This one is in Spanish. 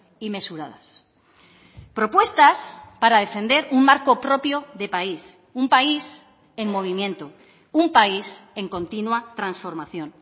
y mesuradas propuestas para defender un marco propio de país un país en movimiento un país en continua transformación